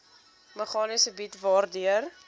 meganisme bied waardeur